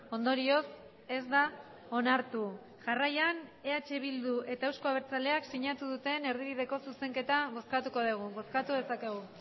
ondorioz ez da onartu jarraian eh bildu eta euzko abertzaleak sinatu duten erdibideko zuzenketa bozkatuko dugu bozkatu dezakegu